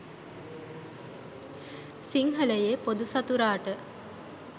සිංහලයේ පොදු සතුරාට